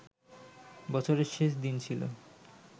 বছরের শেষ দিন ছিল